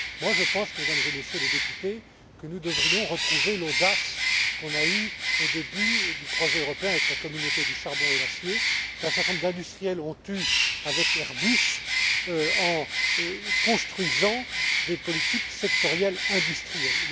Je pense, Mesdames et Messieurs les députés, que nous devrions retrouver l'audace que nous avons eue au début du projet européen, avec la Communauté du charbon et de l'acier, et qu'un certain nombre d'industriels ont eue avec Airbus, en construisant des politiques sectorielles industrielles.